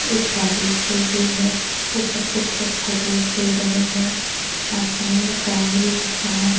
एक गाड़ी खड़ी हुई है ऊपर कुछ लोग फोटोस ले रहे हैं आसमान में चांद भी दिख रहा है।